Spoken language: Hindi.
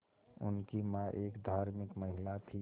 उनकी मां एक धार्मिक महिला थीं